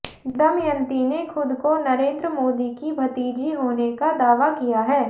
दमयंती ने खुद को नरेंद्र मोदी की भतीजी होने का दावा किया है